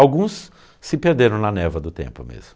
Alguns se perderam na névoa do tempo mesmo.